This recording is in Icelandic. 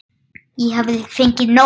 Ég hafði fengið nóg.